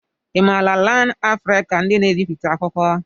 I maara LearnAfrican ndị n'ebipụta akwụkwọ?